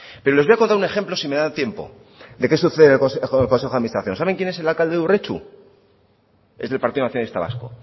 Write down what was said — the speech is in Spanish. pero les voy a contar un ejemplo si me da tiempo de qué sucede en el consejo de administración saben quién es el alcalde de urretxu es del partido nacionalista vasco